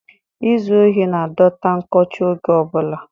izu ohi na-adọta nkọcha oge ọ bụla